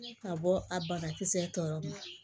Ka bɔ a banakisɛ tɔw ma